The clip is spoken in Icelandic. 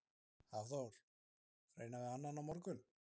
Hafþór: Reyna við annan á morgun?